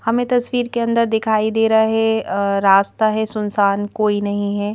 हमें तस्वीर के अंदर दिखाई दे रहा है अ रास्ता है सुनसान कोई नहीं है।